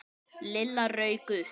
Lilla rauk upp.